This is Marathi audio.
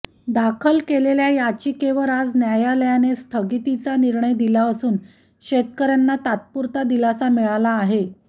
दाखल केलेल्या याचिकेवर आज न्यायालयाने स्थगितीचा निर्णय दिला असून शेतकऱ्यांना तात्पुरता दिलासा मिळाला आहे